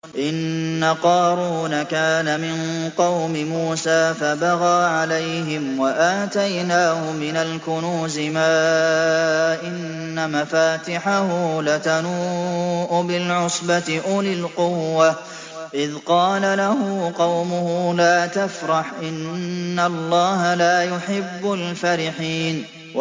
۞ إِنَّ قَارُونَ كَانَ مِن قَوْمِ مُوسَىٰ فَبَغَىٰ عَلَيْهِمْ ۖ وَآتَيْنَاهُ مِنَ الْكُنُوزِ مَا إِنَّ مَفَاتِحَهُ لَتَنُوءُ بِالْعُصْبَةِ أُولِي الْقُوَّةِ إِذْ قَالَ لَهُ قَوْمُهُ لَا تَفْرَحْ ۖ إِنَّ اللَّهَ لَا يُحِبُّ الْفَرِحِينَ